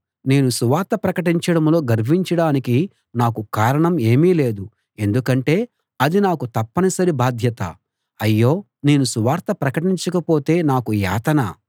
నేను సువార్త ప్రకటించడంలో గర్వించడానికి నాకు కారణం ఏమీ లేదు ఎందుకంటే అది నాకు తప్పనిసరి బాధ్యత అయ్యో నేను సువార్త ప్రకటించకపోతే నాకు యాతన